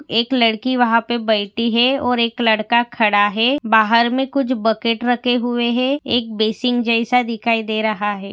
एक लड़की वहा पर बैठी है और एक लडका खड़ा है बाहर मे कुछ बकेट रखे हुए है। एक बेसिंग जैसा दिखाई दे रहा है।